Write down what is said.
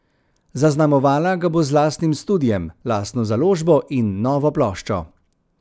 Zaznamovala ga bo z lastnim studiem, lastno založbo in novo ploščo.